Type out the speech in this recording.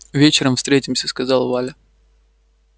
вечером встретимся сказала валя